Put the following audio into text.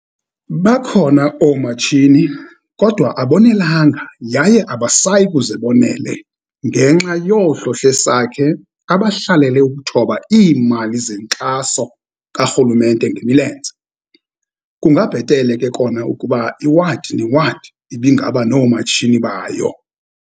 Bakhona oomatshini kodwa abonelanga, yaye abasayi kuze bonele ngenxa yoohlohlesakhe, abahlalele ukuthoba iimali zenkxaso karhulumente ngemilenze. Kungabhetele ke kona ukuba iwadi newadi ibe ngaba noomatshini bayo.